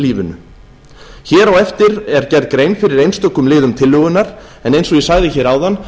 efnahagslífinu hér á eftir er gerð grein fyrir einstökum liðum tillögunnar en eins og ég sagði hér áðan